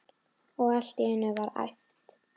Og allt í einu var æpt